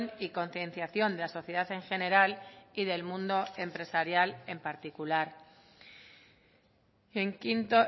y concienciación de la sociedad en general y del mundo empresarial en particular en quinto